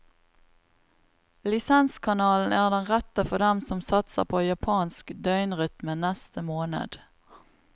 Lisenskanalen er den rette for dem som satser på japansk døgnrytme neste måned.